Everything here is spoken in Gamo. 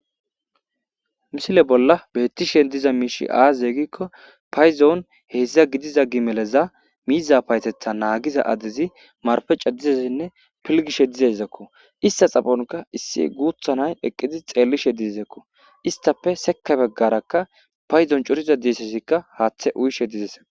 misile bolla bettishen diza miishi aazze gikko payzoon heeszdza gidiza gi meleza miiza paytetha naagiza adezi marpe cadizezenne pilgishe dizezakko ista xafonka issi guuthanay eqqidi xeellishe dizezakko istape seka beggaraka payzon coriza deesesikka haaththe uyishe dizes